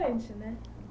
Distante, né.